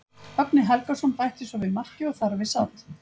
Högni Helgason bætti svo við marki og þar við sat.